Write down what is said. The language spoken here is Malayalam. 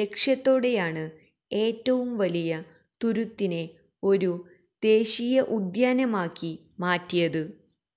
ലക്ഷ്യത്തോടെയാണ് ഏറ്റവും വലിയ തുരുത്തിനെ ഒരു ദേശീയ ഉദ്യാനമാക്കി മാറ്റിയത്